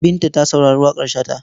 Binta ta saurari waƙar Shata.